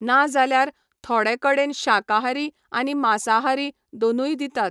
ना जाल्यार थोडे कडेन शाकाहारी आनी मासाहारी दोनूय दितात.